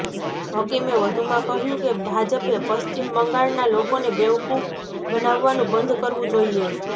હકીમે વધુમાં કહ્યું કે ભાજપે પશ્ચિમ બંગાળના લોકોને બેવકૂફ બનાવવાનું બંધ કરવું જોઈએ